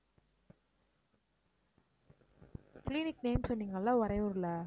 clinic name சொன்னீங்க இல்ல உறையூர்ல